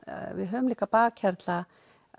við höfum líka bakhjarla